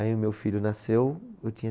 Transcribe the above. Aí o meu filho nasceu, eu tinha